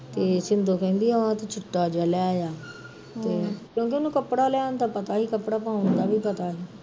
ਤੇ ਸ਼ਿੰਦੋਂ ਕਹਿੰਦੀ ਆਹ ਤੇ ਚਿੱਟਾ ਜਿਹਾ ਲੈ ਆਇਆ ਹਮ ਤੇ ਉਹ ਕਿਉਕਿ ਉਹਨੂੰ ਕਪੜਾ ਲੈਣ ਦਾ ਪਤਾ ਸੀ, ਕਪੜਾ ਪਾਉਣ ਦਾ ਵੀ ਪਤਾ ਸੀ